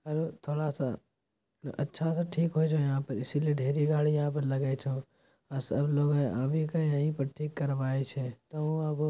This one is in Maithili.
आरो थोड़ा-सा अच्छा से ठीक---